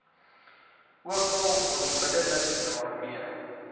ookal onmiddellik daarmee